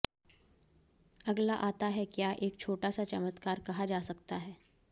अगला आता है क्या एक छोटा सा चमत्कार कहा जा सकता है